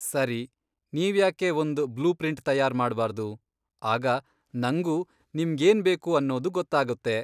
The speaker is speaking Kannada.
ಸರಿ, ನೀವ್ಯಾಕೆ ಒಂದ್ ಬ್ಲೂ ಪ್ರಿಂಟ್ ತಯಾರ್ ಮಾಡ್ಬಾರ್ದು, ಆಗ ನಂಗೂ ನಿಮ್ಗೇನ್ಬೇಕು ಅನ್ನೋದು ಗೊತ್ತಾಗುತ್ತೆ.